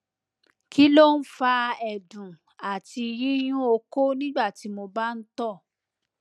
kí ló ń fa ẹdùn àti yíyún okó nígbàtí mo bá ń tọ